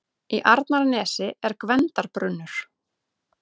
Í Arnarnesi er Gvendarbrunnur.